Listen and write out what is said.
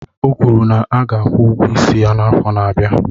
O kwuru na a ga-akwụ ụgwọ isi ya n'afọ na-abịa